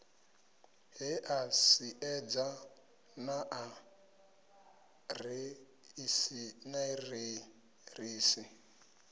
he a siedza naa aḓiresi